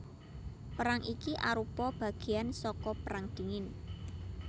Perang iki arupa bagéan saka Perang Dingin